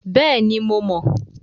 Bẹ́ẹ̀ni, mo mọ̀.